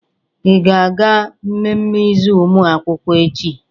Ị ga-aga mmemme izu ụmụ akwụkwọ echi?